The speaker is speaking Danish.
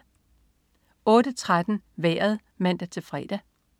08.13 Vejret (man-fre)